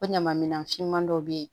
O ɲama minan finman dɔw bɛ ye